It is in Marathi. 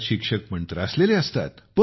शिक्षक पण त्रासलेले असतात